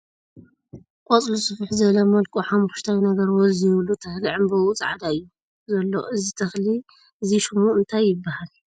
ቖፅሉ ስፍሕ ዝበለ መልክዑ ሓሞኽሽታይ ነገር ወዝ ዘይብሉ ተኽሊ ዕምበብኡ ፃዕዳ እዩ ዘሎ፡ እዚ ተኽሊ እዚ ሹሙ እንታይ ይበሃል ።